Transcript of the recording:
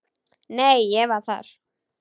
Nei, ég var þar